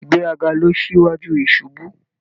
Ìgbéraga ló n síwájú ìṣubú